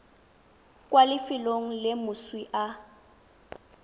kwa lefelong le moswi a